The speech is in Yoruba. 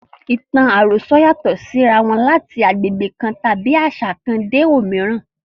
Ìtàn àròsọ yàtọ̀ sí ara wọn láti agbègbè kan tàbí àṣà kan dé òmíràn.